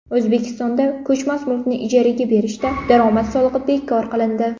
O‘zbekistonda ko‘chmas mulkni ijaraga berishda daromad solig‘i bekor qilindi.